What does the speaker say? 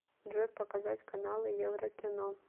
джой показать каналы еврокино